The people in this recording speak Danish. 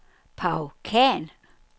Paw Khan